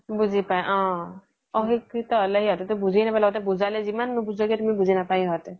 বুজি পাই অ অশিক্ষিত হ্'লে সিহ্তে তো বুজি নাপাই ল্গ্তে বুজালে জিমান নুবুজোৱা কিও বুজি নাপাইয়ে সিহ্তে